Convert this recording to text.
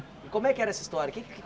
E como é que era essa história? Que é que